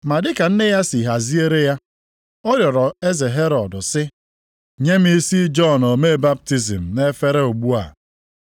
Ma dị ka nne ya si haziere ya, ọ rịọrọ eze Herọd sị, “Nye m isi Jọn omee baptizim nʼefere ugbu a.”